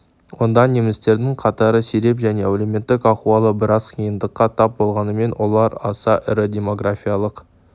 онда немістердің қатары сиреп және әлеуметтік ахуалы біраз қиындыққа тап болғанымен олар аса ірі демографиялық